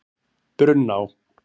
Brunná